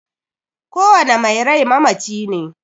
Kowane mai rai mamaci ne.